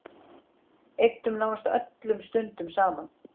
Eyddum nánast öllum stundum saman.